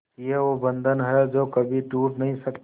ये वो बंधन है जो कभी टूट नही सकता